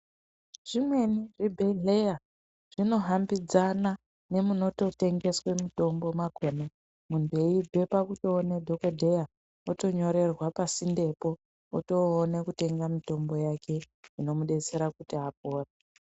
Zvimweni zvibhedhleya zvinohambidzana nemunototengese mitombo makona. Muntu eibve pakutoona dhogodheya eitonyorerwa pasindepo, otoona kutenga mitombo yake imomubetsera kuti apore.